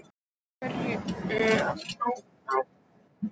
Af einhverjum ástæðum kom Urður upp í huga hennar.